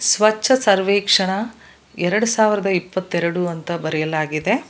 ಸ್ವಚ್ಛ ಸರ್ವೇಕ್ಷಣ ಎರಡು ಸಾವಿರದ ಇಪ್ಪತ್ತೆರಡು ಅಂತ ಬರೆಯಲಾಗಿದೆ.